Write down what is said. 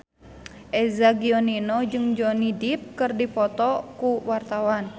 Eza Gionino jeung Johnny Depp keur dipoto ku wartawan